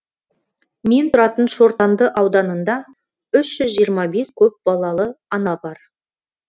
мен тұратын шортанды ауданында үш жүз жиырма бес көпбалалы ана бар